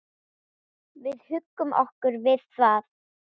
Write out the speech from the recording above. Við huggum okkur við það.